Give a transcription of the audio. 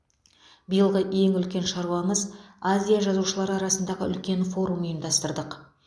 биылғы ең үлкен шаруамыз азия жазушылары арасындағы үлкен форум ұйымдастырдық